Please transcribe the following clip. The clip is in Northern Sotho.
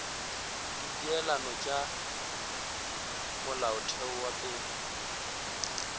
dipeelano tša molaotheo wa pele